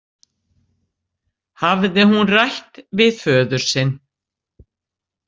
Hafði hún rætt við föður sinn?